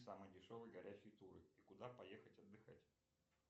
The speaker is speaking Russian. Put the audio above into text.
самые дешевые горящие туры и куда поехать отдыхать